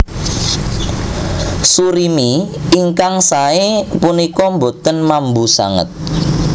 Surimi ingkang saé punika boten mambu sanget